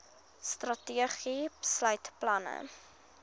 strategie sluit planne